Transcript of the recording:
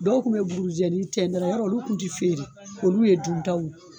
Dɔw kun be burujɛni tɛn dɔrɔn yɔrɔ olu kun te feere olu ye duntaw